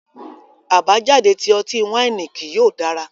Abajade ti ọti-waini kii yóò dara